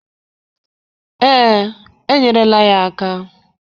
Ee, enyerela ya aka